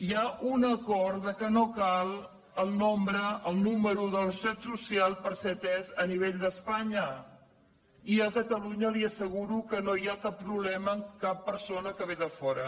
hi ha un acord que no cal el nombre el número de la seguretat social per ser atès a nivell d’espanya i a ca talunya li asseguro que no hi ha cap problema amb cap persona que ve de fora